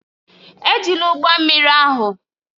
Ejila ụgbọ mmiri ahụ!